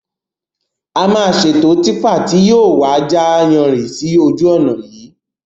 A máa ṣètò típà tí yìí ó wà ja yanrìn sì ojú ọnà yìí